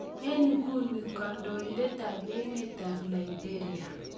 Eng inguni kandoindet tab emet tab liberia